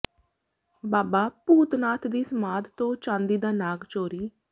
ਬਾਬਾ ਭੂਤ ਨਾਥ ਦੀ ਸਮਾਧ ਤੋਂ ਚਾਂਦੀ ਦਾ ਨਾਗ ਚੋਰੀ